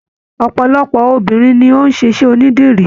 Ọpọlọpọ obìnrin ni o n ṣiṣẹ onídìrí.